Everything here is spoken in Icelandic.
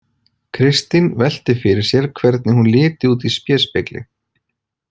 Kristín velti fyrir sér hvernig hún liti út í spéspegli.